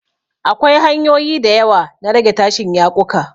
Akwai hanyoyi da yawa na rage tashin yaƙuka.